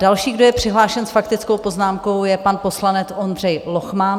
Další, kdo je přihlášen s faktickou poznámkou, je pan poslanec Ondřej Lochman.